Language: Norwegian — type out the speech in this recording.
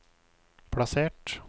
plassert